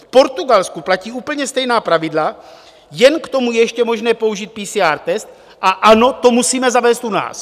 V Portugalsku platí úplně stejná pravidla, jen k tomu je ještě možné použít PCR test, a ano, to musíme zavést u nás.